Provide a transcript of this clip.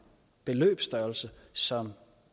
beløbsstørrelse som